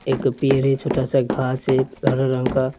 एक पैर है छोटा सा घास है हरा रंग का --